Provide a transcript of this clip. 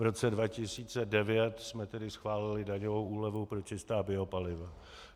V roce 2009 jsme tedy schválili daňovou úlevu pro čistá biopaliva.